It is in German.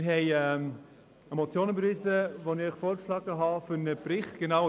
Wir haben eine Motion von mir überwiesen, welche einen solchen Bericht fordert.